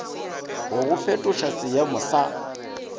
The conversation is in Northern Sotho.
go go fetoša seeemo sa